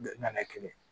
Nana kelen